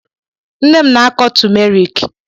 Nne m na-akọ tumerik.